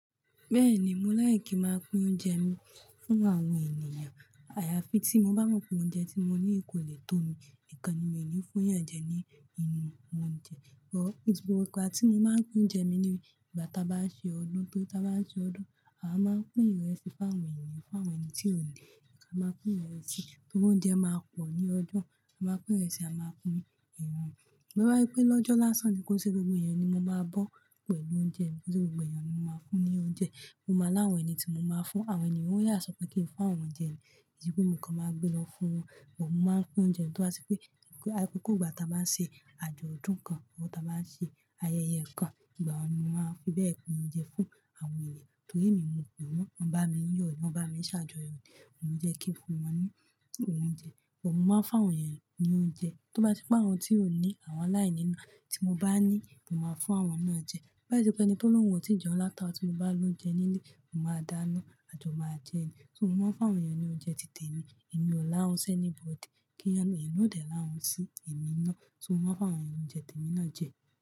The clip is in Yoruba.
Bẹ́ẹ̀ni, mo láì kí máa pín oúnjẹ mi fún àwọn ènìyàn. Àyàfi tí mo bá mọ̀ pé oúnjẹ tí mo ní kò lè tó mi, nìkan ni mi ò ní fún èèyàn jẹ ní inú oúnjẹ. Àsìkò igbàti mo máa pín oúnjẹ mi ni ìgbà tí a bá ṣe ọdún. Bí a bá ṣe ọdún, a máa pín ìrẹsì fún àwọn ènìyàn, fún àwọn ẹni tí ò le. A máa pín ìrẹsì, torí óúnjẹ máa pọ̀ ní ọjọ́, a máa pín ìrẹsì, a máa pín ẹran. But tó bá jẹ́ pé lọ́jọ́ lásán ni kó ṣe gbogbo ẹ̀yán ni mo máa bọ́ pẹ̀lú oúnjẹ, kó ṣe gbogbo ẹ̀yán ni mo máa fún ní oúnjẹ. Mo máa láwọn ẹni tí mo máa fún, àwọn ènìyàn ó yá sọ pé kí n fún àwọn jẹ ni. Nítorí pé nǹkan máa gbé lọ fún wọn, but mo máa ń pín oúnjẹ. Tó bá se pé, akúùkù ìgbà tí a bá ń ṣe àjọ ọdún kan, àbí tí a bá ń ṣe ayẹyẹ kan, ìgbà ye ni mo ma fi bẹ́ẹ̀ pín oúnjẹ fún àwọn ènìyàn? Torí èmi mọ̀ pé àwọn, wọ́n bá mi yọ̀, wọ́n bá mi ṣàjọyọ̀, mo jẹ́ kí n fún wọn ní oúnjẹ. Òótọ́, mo máa ń fún àwọn èèyàn ní oúnjẹ. Tó bá sí pé àwọn tí ò ní, àwọn aláìní náà tí mo bá ní, mo máa fún àwọn náà jẹ. Lái se pé ẹni tó ni óhun ò tí jẹun láti aro, tí mo bá loúnjẹ nílé, mo máa dáná à jo máa jẹun. Atipé mo kan máa gbé lọ fún wọn, but mo máa ń pín oúnjẹ. Tó bá se pé, akoko ìgbà tí a bá ń ṣe àjọ ọdún kan, àbí tí a bá ń ṣe ayẹyẹ kan, ìgbà ye ni mọ́n ma fi bẹ́ẹ̀ pín oúnjẹ fún àwọn ènìyàn? So mo máa ń fún àwọn èèyàn ní oúnjẹ ti èmi náà jẹ.